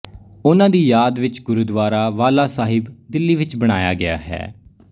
ਓਹਨਾ ਦੀ ਯਾਦ ਵਿੱਚ ਗੁਰੂਦਵਾਰਾ ਬਾਲਾ ਸਾਹਿਬ ਦਿੱਲੀ ਵਿੱਚ ਬਣਾਇਆ ਗਿਆ ਹੈ